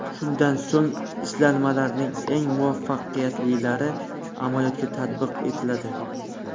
Shundan so‘ng ishlanmalarning eng muvaffaqiyatlilari amaliyotga tatbiq etiladi.